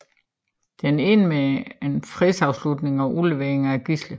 Den endte med en fredsafslutning og udleveringen af gidsler